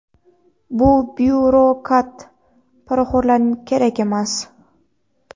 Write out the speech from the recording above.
Bu byurokrat, poraxo‘rlaring kerak emas.